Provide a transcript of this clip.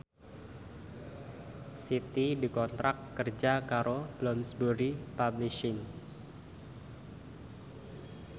Siti dikontrak kerja karo Bloomsbury Publishing